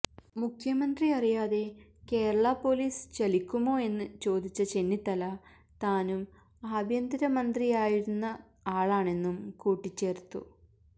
മുഖ്യമന്ത്രി അറിയാതെ കേരള പോലീസ് ചലിക്കുമോയെന്ന് ചോദിച്ച ചെന്നിത്തല താനും ആഭ്യന്തര മന്ത്രിയായിരുന്ന ആളാണെന്നും കൂട്ടിച്ചേര്ത്തു